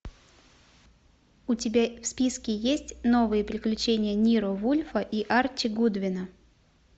у тебя в списке есть новые приключения ниро вульфа и арчи гудвина